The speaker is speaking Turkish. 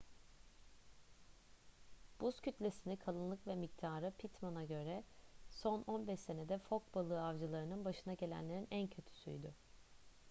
buz kütlesini kalınlık ve miktarı pittman'a göre son 15 senede fok balığı avcılarının başına gelenlerin en kötüsüydü